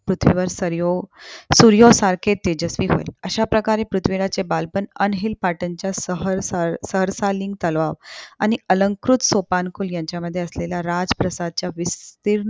पृथ्वीवर सर्यो सूर्या सारखे तेजस्वी होय. अश्या प्रकारे पृथ्वीराजचे बालपण अनहील पाटणच्या सहर सहर्सालीन तलाव आणि अलंकृत सोपानकुल यांच्या मध्ये असलेल्या राज प्रसादच्या विस्तीर्ण